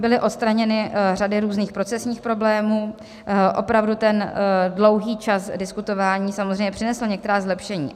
Byly odstraněny řady různých procesních problémů, opravdu ten dlouhý čas diskutování samozřejmě přinesl některá zlepšení.